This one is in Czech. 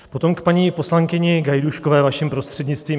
Potom k paní poslankyni Gajdůškové vaším prostřednictvím.